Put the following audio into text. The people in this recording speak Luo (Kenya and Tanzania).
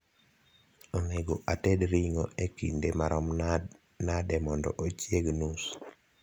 onego ated ringo e kindemarom nade mondo ochieg nus